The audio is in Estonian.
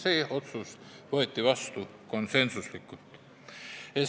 See otsus võeti vastu konsensuslikult.